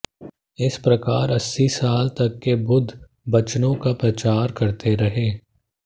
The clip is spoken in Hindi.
इस प्रकार अस्सी साल तक वे बुद्ध बचनों का प्रचार करते रहे